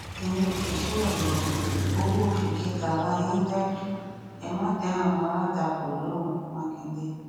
ẹyin òṣìṣẹ ọyọ owó oṣù kẹtàlá yín dájú ẹ má dá àwọn alátakò lóhùn mákindé